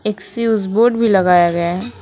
Switch board भी लगाया गया है।